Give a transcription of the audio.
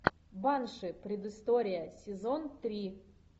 банши предыстория сезон три